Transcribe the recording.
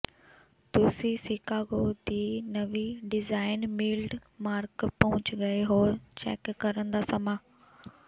ਤੁਸੀਂ ਸ਼ਿਕਾਗੋ ਦੀ ਨਵੀਂ ਡਿਜ਼ਾਈਨ ਮੀਲਡਮਾਰਕ ਪਹੁੰਚ ਗਏ ਹੋ ਚੈੱਕ ਕਰਨ ਦਾ ਸਮਾਂ